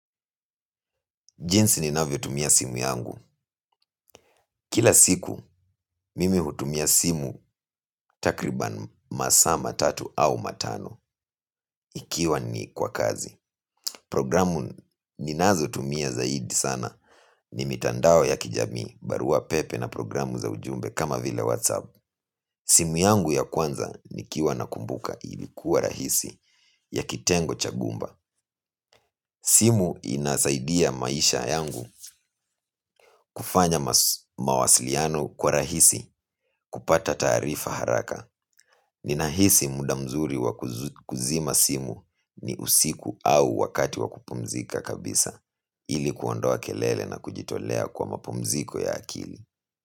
Jinsi ninavyo tumia simu yangu. Kila siku mimi hutumia simu takriban masaa matatu au matano ikiwa ni kwa kazi. Programu ninazo tumia zaidi sana ni mitandao ya kijamii barua pepe na programu za ujumbe kama vile whatsapp. Simu yangu ya kwanza nikiwa na kumbuka ilikuwa rahisi ya kitengo cha gumba. Simu inasaidia maisha yangu kufanya mawasiliano kwa rahisi kupata taarifa haraka. Ninahisi muda mzuri wa kuzima simu ni usiku au wakati wa kupumzika kabisa ilikuondoa kelele na kujitolea kwa mapumziko ya akili.